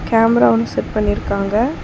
Camera ஒன்னு set பண்ணி இருக்காங்க.